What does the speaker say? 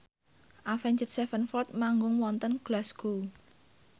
Avenged Sevenfold manggung wonten Glasgow